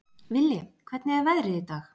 Villi, hvernig er veðrið í dag?